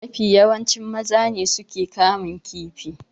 Mafi yawanci maza ne suke kamun kifi.